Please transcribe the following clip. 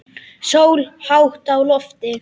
Sól hátt á lofti.